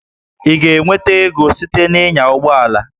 Ị ga-enweta ego site na ịnya ụgbọ ala?